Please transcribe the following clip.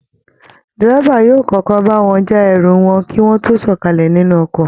Dẹ́rẹ́bà yóò kọ́kọ́ bá wọn já ẹrù wọn kí wọ́n tó sọ̀kalẹ̀ nìnù ọkọ̀